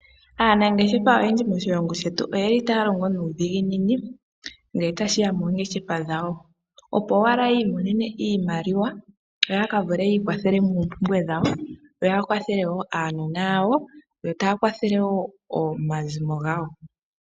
Aanangeshefa oyendji moshilongo shetu oyeli ta ya longo nuudhiginini ngele ta shiya moongeshefa dhawo. Opo ashike yi imonene iimaliwa yo ya ka vulu yi ikwathele moompumbwe dhawo yo ya kwathele woo uunona wawo yo ta yakwathele woo omazimo gawo